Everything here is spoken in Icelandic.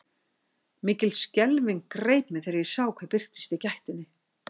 Mikil skelfing greip mig þegar ég sá hver birtist í gættinni.